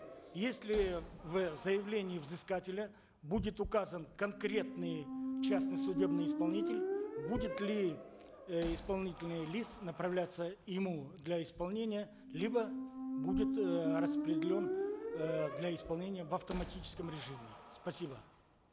если в заявлении взыскателя будет указан конкретный частный судебный исполнитель будет ли э исполнительный лист направляться ему для исполнения либо будет э распределен э для исполнения в автоматическом режиме спасибо